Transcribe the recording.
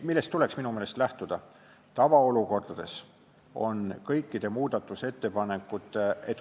Millest tuleks minu meelest lähtuda?